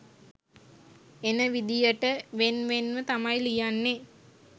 එන විදියට වෙන් වෙන්ව තමයි ලියන්නේ.